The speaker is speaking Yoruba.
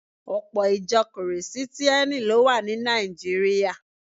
Ọpọ̀ Ìjọ Kìrìsìtíẹ́nì ló wà ní Nàìjíríà